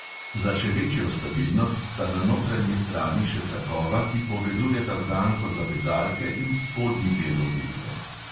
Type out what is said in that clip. Za še večjo stabilnost sta na notranji strani še trakova, ki povezujeta zanko za vezalke in spodnji del obutve.